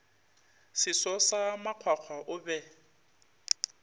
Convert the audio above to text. seso sa makgwakgwa o be